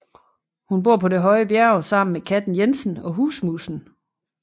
Hun bor på Det høje bjerg sammen med Katten Jensen og Husmusen